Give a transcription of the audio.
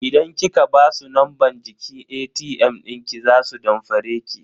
Idan kika basu numban jiki ATM dinki za su damfare ki.